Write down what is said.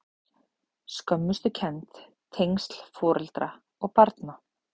Skömmustukennd- tengsl foreldra og barna